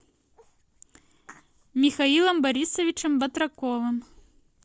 михаилом борисовичем батраковым